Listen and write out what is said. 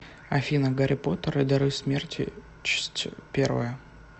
афина гарри поттер и дары смерти чсть первая